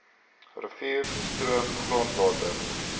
rivier stroom grondwater